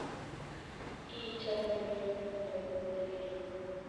Ii chamanenyu nebo koigeny